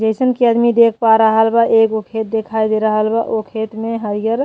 जइसन की आदमी देख पा रहल बा एगो खेत दिखाइ दे रहल बा ओ खेत में हरिअर --